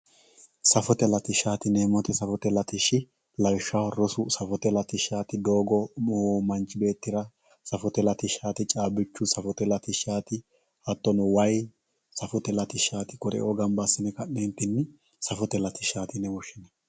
safote latishaati yineemoti safote latishshi lawishshaho rosu safote latishaati doogo manchu beettira safote latishaati caabichu safote latishaati hattono wayi safote latishaati kuri"uu gamba assine safote latishaatiyine woshinanni